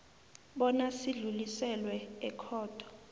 bona sidluliselwe ekhotho